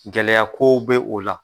Gɛlɛya kow be o la